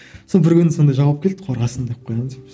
сол бір күні сондай жауап келді қорғасын деп қоямын деп